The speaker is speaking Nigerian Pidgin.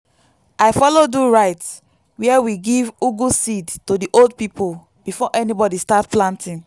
i follow do rite where we give ugu seed to the old people before anybody start planting.